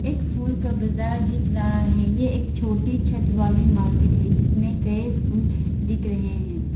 एक फूल का बाजार दिख रहा है ये एक छोटी छत वाली मार्केट है जिसमें कई फूल दिख रहे हैं।